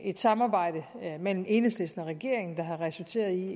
et samarbejde mellem enhedslisten og regeringen der har resulteret i